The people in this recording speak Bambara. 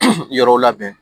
Yɔrɔw labɛn